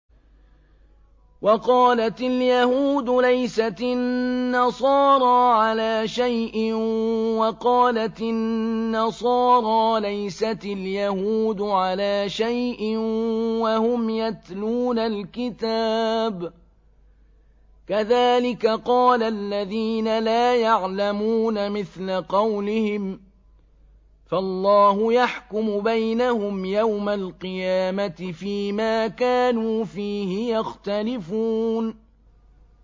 وَقَالَتِ الْيَهُودُ لَيْسَتِ النَّصَارَىٰ عَلَىٰ شَيْءٍ وَقَالَتِ النَّصَارَىٰ لَيْسَتِ الْيَهُودُ عَلَىٰ شَيْءٍ وَهُمْ يَتْلُونَ الْكِتَابَ ۗ كَذَٰلِكَ قَالَ الَّذِينَ لَا يَعْلَمُونَ مِثْلَ قَوْلِهِمْ ۚ فَاللَّهُ يَحْكُمُ بَيْنَهُمْ يَوْمَ الْقِيَامَةِ فِيمَا كَانُوا فِيهِ يَخْتَلِفُونَ